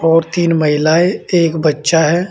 और तीन महिलाएं एक बच्चा है।